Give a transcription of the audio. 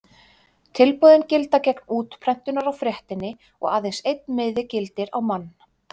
Tilboðin gilda gegn útprentunar á fréttinni og aðeins einn miði gildir á mann.